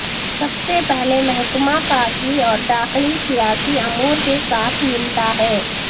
سب سے پہلے محکمہ خارجی اور داخلی سیاسی امور کے ساتھ نمٹا ہے